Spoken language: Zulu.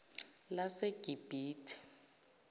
lasegibhithe